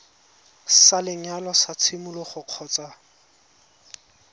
sa lenyalo sa tshimologo kgotsa